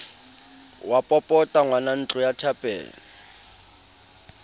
wa popota ngwanantlo ya thapelo